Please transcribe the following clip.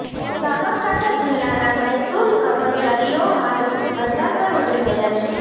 સાંબરકાઠા જીલ્લાના મહેસુલ કર્મચારીઓ હાલ હડતાલ પર ઉતરી ગયા છે